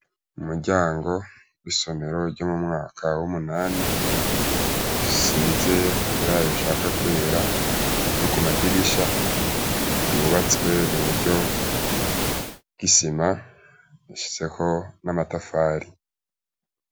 Mu muryango isomero ryo mu mwaka w'umunani size ibara rishaka kwera no ku madirisha ryubatswe mu buryo gisima ashitseho n'amatafari.